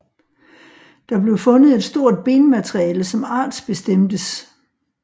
Der blev fundet et stort benmateriale som artsbestemtes